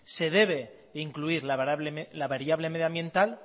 se debe incluir la variable medioambiental